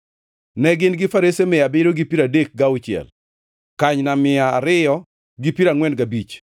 Ne gin gi farese mia abiriyo gi piero adek gauchiel (736), kanyna mia ariyo gi piero angʼwen gabich (245),